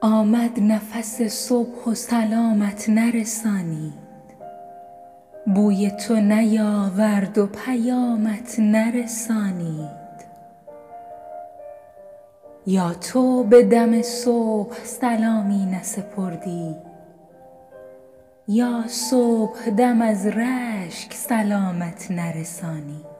آمد نفس صبح و سلامت نرسانید بوی تو بیاورد و پیامت نرسانید یا تو به دم صبح سلامی نسپردی یا صبح دم از رشک سلامت نرسانید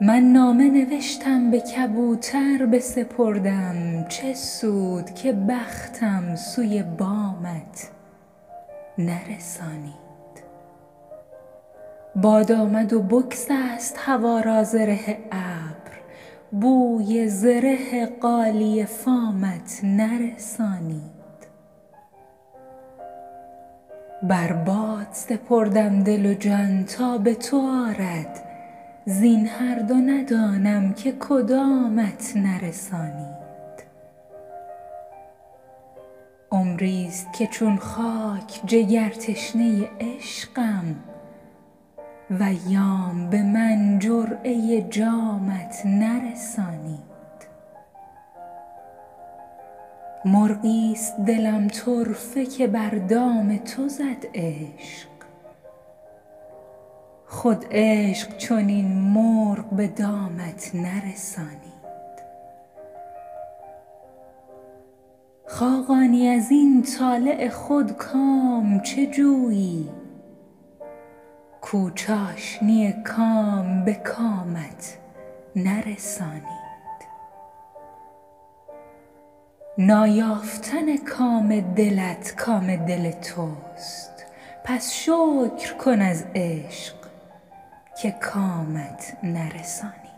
من نامه نوشتم به کبوتر بسپردم چه سود که بختم سوی بامت نرسانید باد آمد و بگسست هوا را زره ابر بوی زره غالیه فامت نرسانید بر باد سپردم دل و جان تا به تو آرد زین هر دو ندانم که کدامت نرسانید عمری است که چون خاک جگر تشنه عشقم و ایام به من جرعه جامت نرسانید مرغی است دلم طرفه که بر دام تو زد عشق خود عشق چنین مرغ به دامت نرسانید خاقانی ازین طالع خود کام چه جویی کو چاشنی کام به کامت نرسانید نایافتن کام دلت کام دل توست پس شکر کن از عشق که کامت نرسانید